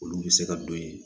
Olu bɛ se ka don yen